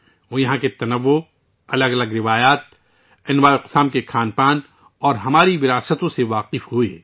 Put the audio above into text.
وہ یہاں کے تنوع، مختلف روایات، مختلف قسم کے کھانوں اور ہمارے ورثے سے واقف ہوئے